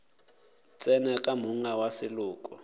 tsena ka monga wa seloko